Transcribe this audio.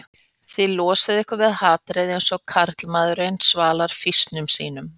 Þið losið ykkur við hatrið eins og karlmaður svalar fýsnum sínum